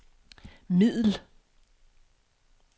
middel